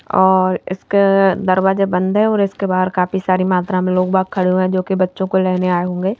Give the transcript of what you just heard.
और इसके दरवाजे बंद हैऔर इसके बाहर काफी सारी मात्रा में लोग बाग खड़े हुए हैंजो कि बच्चों को लेने आए होंगे।